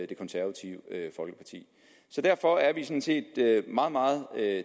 det konservative folkeparti derfor er vi sådan set meget meget